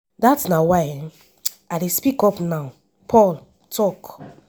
dat na why i dey speak up now” paul tok.